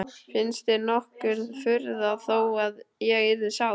Finnst þér nokkur furða þó að ég yrði sár?